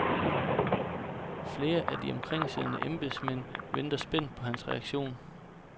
Flere af de omkringsiddende embedsmænd venter spændt på hans reaktion.